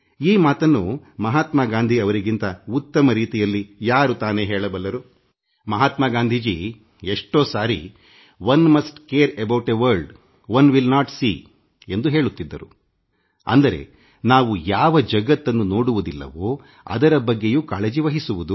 ಈ ಮಾತನ್ನು ಮಹಾತ್ಮಾ ಗಾಂಧೀ ಅವರಿಗಿಂತ ಉತ್ತಮ ರೀತಿಯಲ್ಲಿ ಯಾರು ಹೇಳಲು ಸಾಧ್ಯ ಮಹಾತ್ಮಾ ಗಾಂಧೀಜಿ ಹೇಳುತ್ತಿದ್ದರು ನಾವು ಯಾವ ಜಗತ್ತನ್ನು ನೋಡುವುದಿಲ್ಲವೋ ಅದರ ಬಗ್ಗೆಯೂ ಕಾಳಜಿವಹಿಸಬೇಕು